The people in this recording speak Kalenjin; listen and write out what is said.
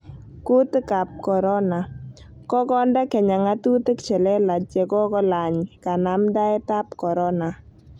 Kutiik ab korona: Kokonde Kenya ng'atutik che lelaach ye kolaany kanamdaet ab korona